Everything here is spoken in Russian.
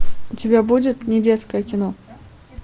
у тебя будет недетское кино